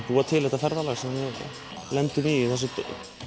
búa til þetta ferðalag sem við lendum í í þessu